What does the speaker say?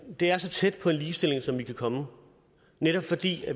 er så tæt på en ligestilling som vi kan komme netop fordi